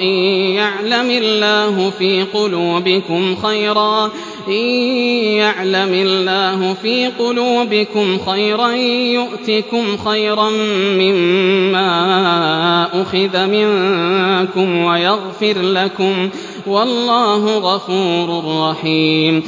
إِن يَعْلَمِ اللَّهُ فِي قُلُوبِكُمْ خَيْرًا يُؤْتِكُمْ خَيْرًا مِّمَّا أُخِذَ مِنكُمْ وَيَغْفِرْ لَكُمْ ۗ وَاللَّهُ غَفُورٌ رَّحِيمٌ